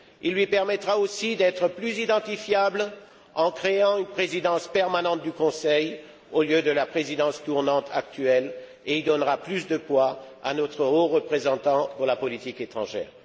Il lui permettra aussi d'être plus identifiable en créant une Présidence permanente du Conseil au lieu de la Présidence tournante actuelle et il donnera plus de poids à notre haut représentant pour la politique étrangère.